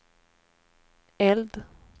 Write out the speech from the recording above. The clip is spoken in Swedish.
eld